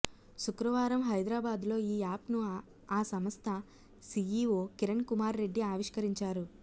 శుక్రవారం హైదరాబాద్లో ఈ యాప్ను ఆ సంస్థ సిఇఒ కిరణ్ కుమార్ రెడ్డి ఆవిష్కరించారు